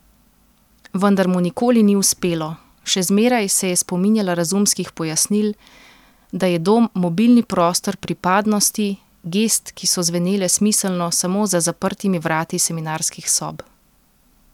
Vendar mu nikoli ni uspelo, še zmeraj se je spominjala razumskih pojasnil, da je dom mobilni prostor pripadnosti, gest, ki so zvenele smiselno samo za zaprtimi vrati seminarskih sob.